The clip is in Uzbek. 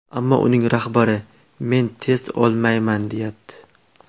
Ammo uning rahbari ‘Men test olmayman’, deyapti.